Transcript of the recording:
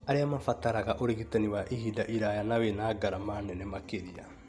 arĩa mabataraga ũrigitani wa ihinda iraya na wĩ na ngarama nene makĩria.